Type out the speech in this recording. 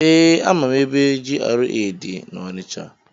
Ee, amaara ebe GRA dị na-Onicha.